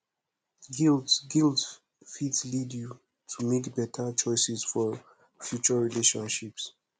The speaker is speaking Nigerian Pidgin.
guilt guilt fit lead yu to mek beta choices for future relationships